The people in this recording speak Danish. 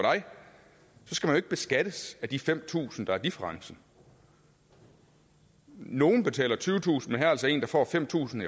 skal man jo ikke beskattes af de fem tusind kr der er differencen nogle betaler tyvetusind er altså en der får fem tusind